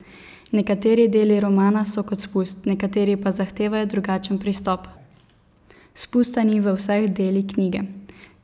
Nekateri deli romana so kot spust, nekateri pa zahtevajo drugačen pristop: 'Spusta ni v vseh deli knjige.